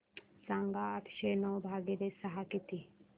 सांगा आठशे नऊ भागीले सहा किती